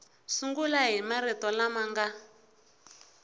sungula hi marito lama nga